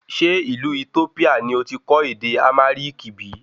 Ṣé ìlú Ethiopia ni oti kọ́ ède Amhariki bìí?